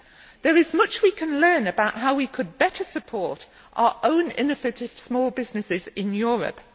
There is much we can learn about how we could better support our own innovative small businesses in Europe.